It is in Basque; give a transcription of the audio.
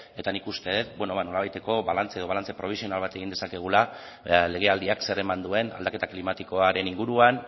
eta nik uste dut nolabaiteko balantze edo balantze probisional bat egin dezakegula legealdiak zer eman duen aldaketa klimatikoaren inguruan